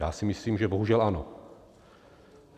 Já si myslím, že bohužel ano.